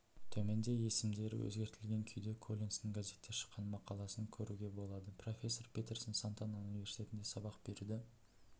төменде есімдері өзгертілген күйде коллинстің газетте шыққан мақаласын көруге болады профессор петерсон сантана университетінде сабақ беруді